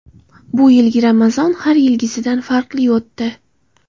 Bu yilgi Ramazon har yilgisidan farqli o‘tdi.